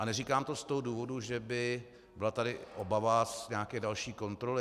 A neříkám to z toho důvodu, že by byla tady obava z nějaké další kontroly.